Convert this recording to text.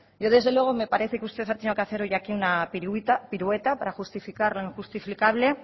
yo desde luego me parece que usted ha tenido que hacer hoy aquí una pirueta para justificar lo injustificable